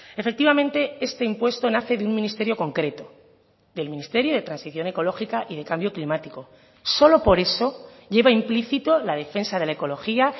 efectivamente este impuesto nace de un ministerio concreto del ministerio de transición ecológica y de cambio climático solo por eso lleva implícito la defensa de la ecología